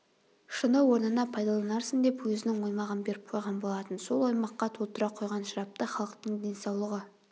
шыны орнына пайдаланарсың деп өзінің оймағын беріп қойған болатын сол оймаққа толтыра құйған шарапты халықтың денсаулығы